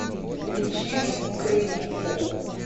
включи кукрыниксов